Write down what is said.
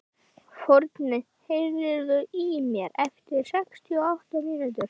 Forni, heyrðu í mér eftir sextíu og átta mínútur.